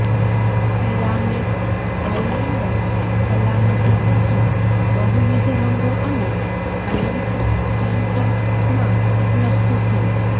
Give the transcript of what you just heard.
Pyramex Highlander સલામતી ચશ્મા બહુવિધ રંગો અને લેન્સ ટિન્ટ્સમાં ઉપલબ્ધ છે